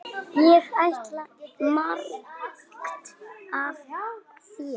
Ég lærði margt af þér.